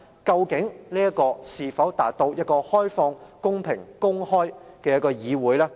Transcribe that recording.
究竟這是否達到一個開放、公平、公開的議會呢？